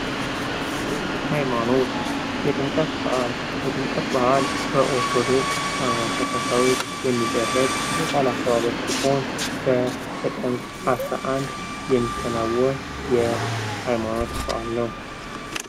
ሃይማኖት የጥቅምት በዓል ፥የጥምቀት በዓል በኦርቶዶክስ ተከታዮች የሚደረግ የበዓል አከባበር ሲሆን በጥቅምት 11 የሚከናወን የሀይማኖት በዓል ነው ።